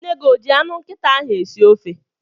Nne gị o ji anụ nkịta ahụ esi ofe?